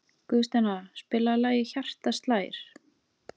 Guðsteina, spilaðu lagið „Hjartað slær“.